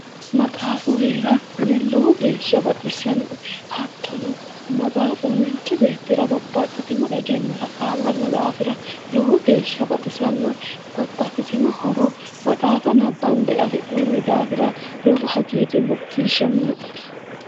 Maxaafu heera ane lowo geeshsha baxissannoe hattono maxaafu manchi beettira babbaxitino egennora kaa'lanno daafira lowo geeshsha baxisannoe. baxxitino horo maxaafa nabbanbe afi'nanni daafira lowo hagiirri macciishshaminoe.